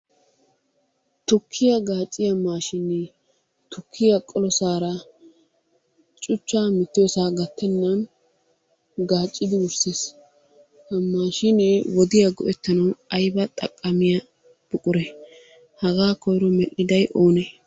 Tukkiya gaacciya maashinee tukkiya qolosaara cuchchaa mittiyosaa gattennan gaaccidi wurssees. Ha maashinee wodiya go'ettanawu ayba maaddiya buquree? Hagaa koyro medhdhiday oonee?